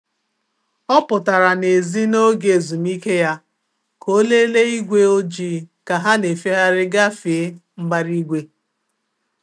Ọ pụtara n'èzí n'oge ezumike ya ka ọ lelee igwe ojii ka ha na-efegharị gafee mbara igwe.